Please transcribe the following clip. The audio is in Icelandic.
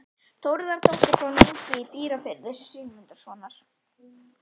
Þórðardóttir frá Núpi í Dýrafirði, Sigmundssonar.